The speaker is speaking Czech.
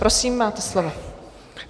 Prosím, máte slovo.